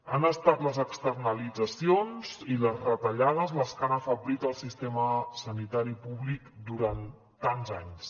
han estat les externalitzacions i les retallades les que han afeblit el sistema sanitari públic durant tants anys